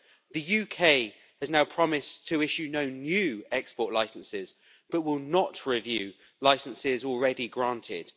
The UK has now promised to issue no new export licenses, but will not review licenses already granted.